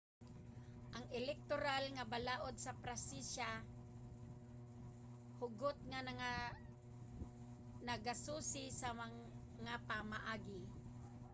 ang elektoral nga balaod sa pransiya hugot nga nagasusi sa mga pamaagi